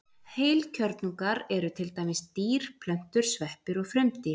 Heilkjörnungar eru til dæmis dýr, plöntur, sveppir og frumdýr.